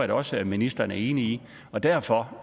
da også at ministeren er enig i derfor